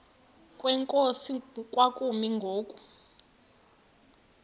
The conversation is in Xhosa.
kwenkosi kwakumi ngoku